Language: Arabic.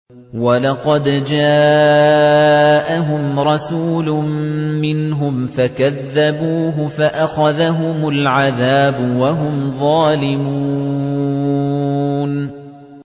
وَلَقَدْ جَاءَهُمْ رَسُولٌ مِّنْهُمْ فَكَذَّبُوهُ فَأَخَذَهُمُ الْعَذَابُ وَهُمْ ظَالِمُونَ